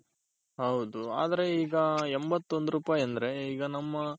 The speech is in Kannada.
ಈಗ ಎಂಬತ್ತ್ ಒಂದ್ ರೂಪಾಯ್ ಅಂದ್ರೆ ಈಗ ನಮ್ಮ